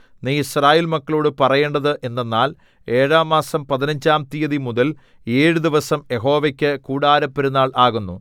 നീ യിസ്രായേൽ മക്കളോടു പറയേണ്ടത് എന്തെന്നാൽ ഏഴാം മാസം പതിനഞ്ചാം തീയതിമുതൽ ഏഴു ദിവസം യഹോവയ്ക്ക് കൂടാരപ്പെരുന്നാൾ ആകുന്നു